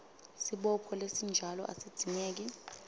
sibopho lesinjalo asidzingeki